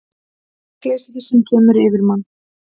Hrekkleysið sem kemur yfir mann.